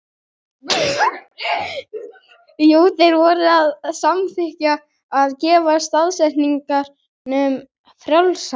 Jú, þeir voru að samþykkja að gefa stafsetningu frjálsa.